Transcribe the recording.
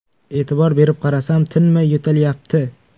E’tibor berib qarasam, tinmay yo‘talyapti.